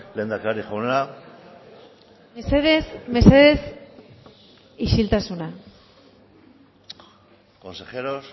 lehendakari jauna mesedez mesedez isiltasuna consejeros